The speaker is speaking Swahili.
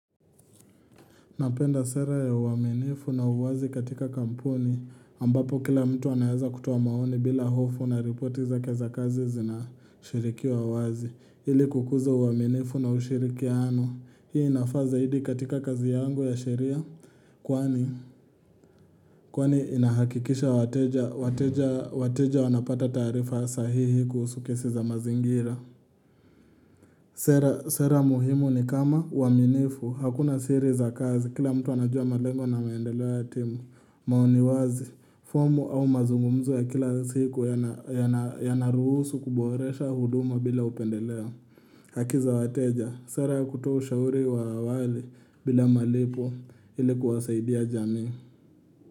Napenda sera ya uaminifu na uwazi katika kampuni ambapo kila mtu anaeza kutoa maoni bila hofu na ripoti zake za kazi zinashirikiwa wazi. Hili kukuza uaminifu na ushirikiano. Hii inafaza zaidi katika kazi yangu ya sheria kwani inahakikisha wateja wanapata taarifa sahihi kuhusu kesi za mazingira. Sera muhimu ni kama uaminifu. Hakuna siri za kazi. Kila mtu anajua malengo na maendeleo ya timu. Maoniwazi, fomu au mazungumzu ya kila siku yanaruhusu kuboresha huduma bila upendeleo. Hakiza wateja. Sera ya kutuoshauri wa awali bila malipo ilikuwasaidia jamii.